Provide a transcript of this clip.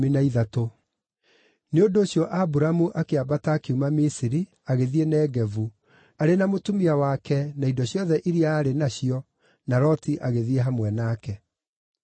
Nĩ ũndũ ũcio Aburamu akĩambata akiuma Misiri agĩthiĩ Negevu, arĩ na mũtumia wake na indo ciothe iria aarĩ nacio, na Loti agĩthiĩ hamwe nake.